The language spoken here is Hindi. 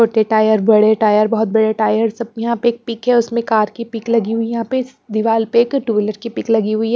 छोटे टायर बड़े टायर बहुत बड़े टायर सब यहां पे एक पिक है उसमें कार की पिक लगी हुई है यहां पे दीवार पे एक टू व्हीलर की पिक लगी हुई है।